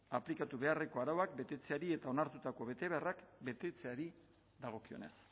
aplikatu beharreko arauak betetzeari eta onartutako betebeharrak betetzeari dagokionez